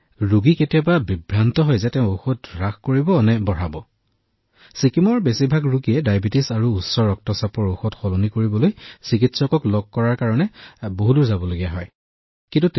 তেওঁৰ ঔষধ বৃদ্ধি কৰিব লাগিব নে হ্ৰাস কৰিব লাগিব সেয়া তেওঁ বিভ্ৰান্ত হৈছে কিয়নো ছিকিমৰ বেছিভাগ ৰোগী ডায়েবেটিচ আৰু উচ্চ ৰক্তচাপৰ আৰু ডায়েবেটিচ আৰু উচ্চ ৰক্তচাপৰ ঔষধ সলনি কৰিবলৈ তেওঁ কিমান দূৰ চিকিৎসক বিচাৰিব লাগিব